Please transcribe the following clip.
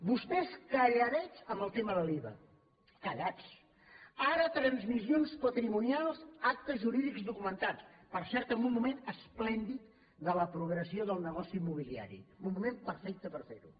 vostès calladets en el tema de l’iva callats ara transmissions patrimonials actes jurídics documentats per cert en un moment esplèndid de la progressió del negoci immobiliari en un moment perfecte per fer ho